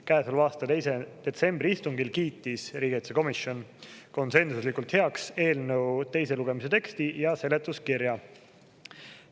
Käesoleva aasta 2. detsembri istungil kiitis riigikaitsekomisjon konsensuslikult heaks eelnõu teise lugemise teksti ja seletuskirja.